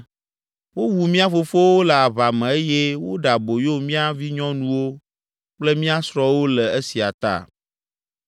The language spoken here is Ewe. Wowu mía fofowo le aʋa me eye woɖe aboyo mía vinyɔnuwo kple mía srɔ̃wo le esia ta.